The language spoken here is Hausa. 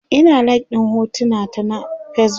Ina like ɗin hotunan ta na Facebook